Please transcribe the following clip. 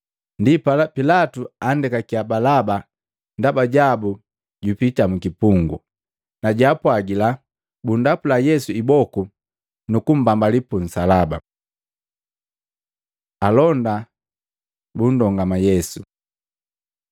Ndipala Pilatu andekakiya Balaba ndaba jabu jupita mukipungu, na jaapwagila bunndapula Yesu iboku nukumbambali pu nsalaba. Alonda bunndongama Yesu Maluko 15:16-20; Yohana 19:2-3